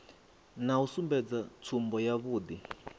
na u sumbedza tsumbo yavhui